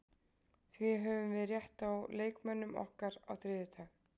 Því höfum við rétt á leikmönnum okkar á þriðjudag.